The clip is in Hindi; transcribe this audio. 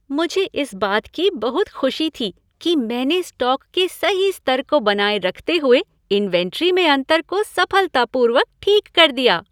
मुझे इस बात की बहुत खुशी थी कि मैंने स्टॉक के सही स्तर को बनाए रखते हुए इन्वेंट्री में अंतर को सफलतापूर्वक ठीक कर दिया।